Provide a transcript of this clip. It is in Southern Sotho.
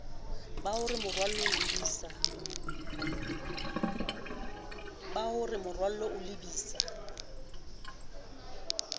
ba hore moralo o lebisa